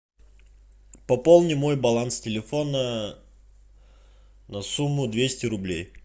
пополни мой баланс телефона на сумму двести рублей